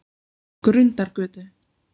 Grundargötu